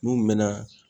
N'u mɛna